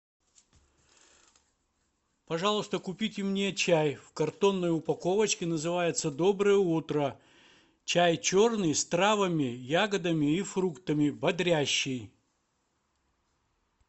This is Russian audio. пожалуйста купите мне чай в картонной упаковочке называется доброе утро чай черный с травами ягодами и фруктами бодрящий